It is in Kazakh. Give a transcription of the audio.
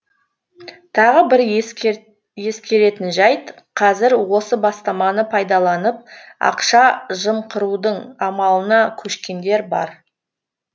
тағы бір ескеретін жайт қазір осы бастаманы пайдаланып ақша жымқырудың амалына көшкендер бар